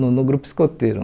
no no grupo escoteiro.